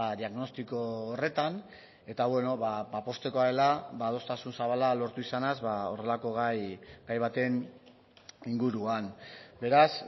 diagnostiko horretan eta poztekoa dela adostasun zabala lortu izanaz horrelako gai baten inguruan beraz